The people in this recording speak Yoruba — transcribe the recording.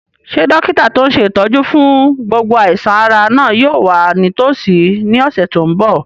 Ṣé dókítà tó n ṣe ìtọ́jú fún gbogbo àìsàn-ara náà yóò wà nítòsí ní ọ̀sẹ̀ tó n bọ̀?